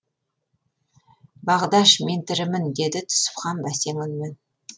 бағдаш мен тірімін деді түсіпхан бәсең үнмен